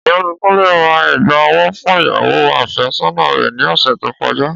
Ọ̀gbẹ́ni Túndé ra ègbà ọwọ́ fún ìyàwó afé sọ́nà rè ni ọ̀sẹ̀ tí ó kọjá.